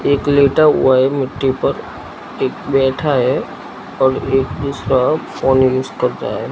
एक लेटा हुआ है मिट्टी पर एक बैठा है और एक उसका फोन यूज करता है।